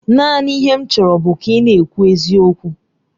Naanị ihe m chọrọ bụ ka ị na-ekwu eziokwu.